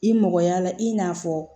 I mɔgɔya la i n'a fɔ